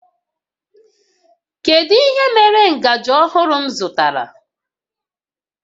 Kedu ihe mere ngaji ọhụrụ m zụtara?